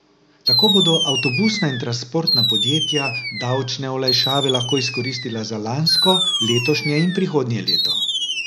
Tako bodo avtobusna in transportna podjetja davčne olajšave lahko izkoristila za lansko, letošnje in prihodnje leto.